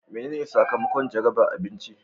Menene sakamakon jarabar abinci?